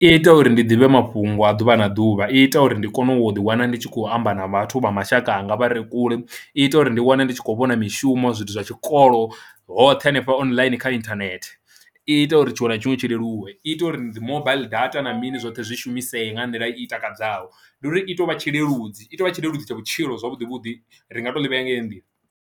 I ita uri ndi ḓivhe mafhungo a ḓuvha na ḓuvha i ita uri ndi kone u ḓiwana ndi tshi khou amba na vhathu vha mashaka anga vha re kule i ita uri ndi wane ndi tshi khou vhona mishumo zwithu zwa tshikolo hoṱhe hanefha online kha inthanethe. I ita uri tshiṅwe na tshiṅwe tshi leluwe, i ita uri ndi mobile data na mini zwoṱhe zwi shumisesa nga nḓila i takadzaho ndi uri i tou vha tshi leludzi i tou vha tshileludzi tsha vhutshilo zwavhuḓi vhuḓi ri nga to ḽi vhea nga heyo nḓila.